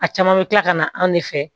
A caman bɛ kila ka na anw de fɛ